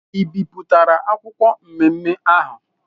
I bipụtara akwụkwọ nmenme ahụ!